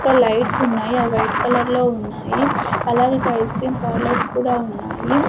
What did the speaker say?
అక్కడ లైట్సున్నాయి అవి వైట్ కలర్ లో ఉన్నాయి అలాగే ఇక్కడ ఐస్క్రీమ్ పార్లర్స్ కూడా ఉన్నాయి.